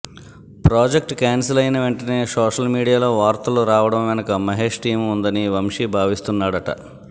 project cancel అయిన వెంటనే social మీడియాలో వార్తలు రావడం వెనుక మహేష్ టీమ్ ఉందని వంశీ భావిస్తున్నాడట